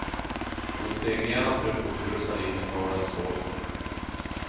Hon steg genast upp och rusade in i faderns sovrum.